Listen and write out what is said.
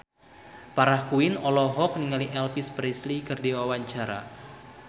Farah Quinn olohok ningali Elvis Presley keur diwawancara